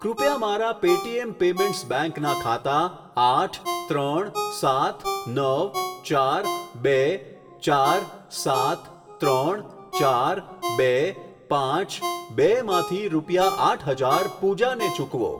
કૃપયા મારા Paytm payments bank ના ખાતા આઠ ત્રણ સાત નવ ચાર બે ચાર સાત ત્રણ ચાર બે પાંચ બે માંથી રૂપિયા આઠ હજાર પૂજા ને ચૂકવો.